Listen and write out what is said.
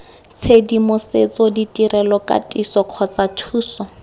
tshedimosetso ditirelo katiso kgotsa thuso